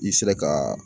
I sera ka